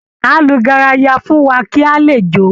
Á lu garaya fún wa kí a lè jó